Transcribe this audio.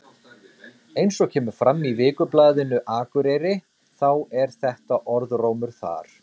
Eins og kemur fram í Vikublaðinu Akureyri þá er þetta orðrómur þar.